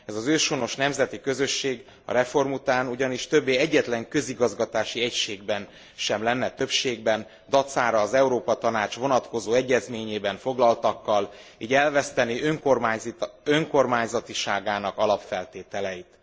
Ez az őshonos nemzeti közösség a reform után ugyanis többé egyetlen közigazgatási egységben sem lenne többségben, dacára az Európa Tanács vonatkozó egyezményében foglaltakkal, így elvesztené önkormányzatiságának alapfeltételeit.